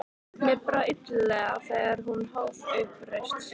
Mér brá illilega þegar hún hóf upp raust sína